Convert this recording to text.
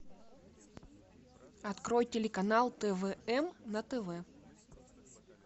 открой телеканал твм на тв